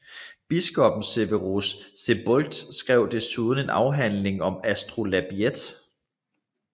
Biskoppen Severus Sebokht skrev desuden en afhandling om astrolabiet